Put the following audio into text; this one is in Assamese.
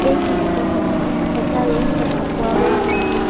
এই দৃশ্যখনত এটা ৰুম দেখা পোৱা গৈছে।